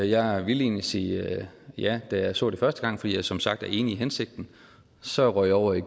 jeg ville egentlig sige ja da jeg så det første gang fordi jeg som sagt er enig i hensigten så røg jeg over i